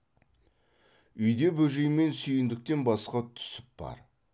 үйде бөжей мен сүйіндіктен басқа түсіп бар